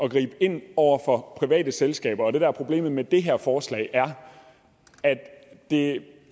at gribe ind over for private selskaber og det der er problemet med det her forslag er at det